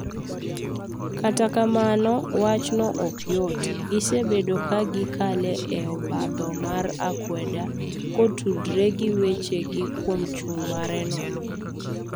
kata kamano wachni ok yot gisebedo ka gi kalo e obadho mar akweda ko tudore gi weche ji kuom chung' mare no.